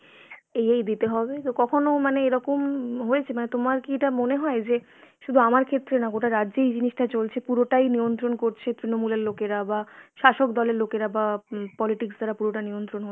এই এই দিতে হবে। তো কখনো মানে এরকম হয়েছে? মানে তোমার কি এটা মনে হয় যে শুধু আমার ক্ষেত্রে না গোটা রাজ্যে এই জিনিসটা চলছে। পুরোটাই নিয়ন্ত্রণ করছে তৃণমূলের লোকেরা বা শাসক দলের লোকেরা বা উম politics দ্বারা পুরোটা নিয়ন্ত্রণ হচ্ছে